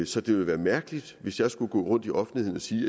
så det ville være mærkeligt hvis jeg skulle gå rundt i offentligheden og sige